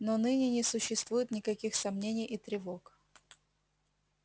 но ныне не существует никаких сомнений и тревог